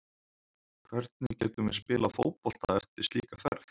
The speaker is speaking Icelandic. Hvernig getum við spilað fótbolta eftir slíka ferð?